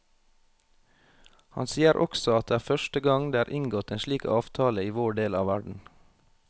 Han sier også at det er første gang det er inngått en slik avtale i vår del av verden.